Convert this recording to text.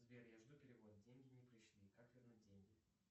сбер я жду перевод деньги не пришли как вернуть деньги